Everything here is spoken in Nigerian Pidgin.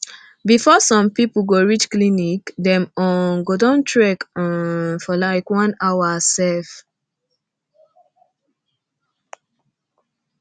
before sum pipu go reach clinic dem um go don trek um for long like one hour sef